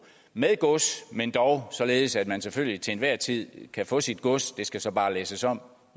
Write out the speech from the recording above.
med gods men dog således at man selvfølgelig til enhver tid kan få sit gods det skal så bare læsses om